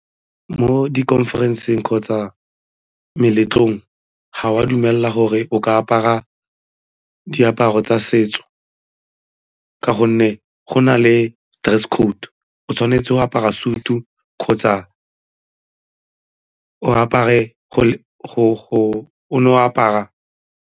Mo di-conference-eng kgotsa meletlong ga o a dumela gore o ka apara diaparo tsa setso ka gonne go na le dress code, o tshwanetse go apara sutu kgotsa o no apara.